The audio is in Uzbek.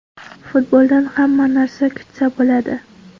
Futboldan hamma narsa kutsa bo‘ladi”.